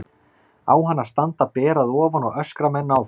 Á hann að standa ber að ofan og öskra menn áfram?